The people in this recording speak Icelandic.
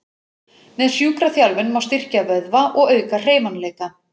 Með sjúkraþjálfun má styrkja vöðva og auka hreyfanleika.